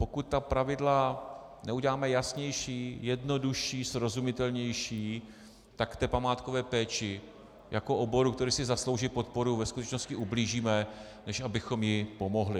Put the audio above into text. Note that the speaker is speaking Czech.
Pokud ta pravidla neuděláme jasnější, jednodušší, srozumitelnější, tak té památkové péči jako oboru, který si zaslouží podporu, ve skutečnosti ublížíme, než abychom jí pomohli.